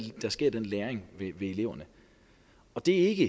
sker i den læring ved eleverne og det er ikke